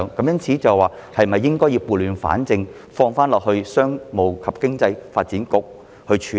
因此，政府是否應該撥亂反正，交給商務及經濟發展局處理？